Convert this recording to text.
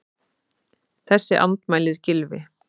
Þessu andmælir Gylfi.